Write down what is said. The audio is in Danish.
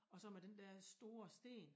Og så med den dér store sten